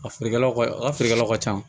A feerekɛlaw ka a ka feerekɛlaw ka ca